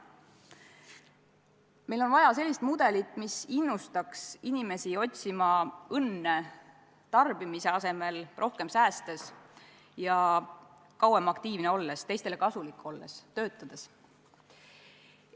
Meil on vaja sellist mudelit, mis innustaks inimesi õnne otsima tarbimise asemel rohkem säästes ja kauem aktiivne olles, teistele kasulik olles, töötades.